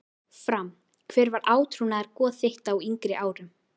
Fram Hver var átrúnaðargoð þitt á yngri árum?